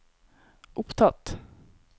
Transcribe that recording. opptatt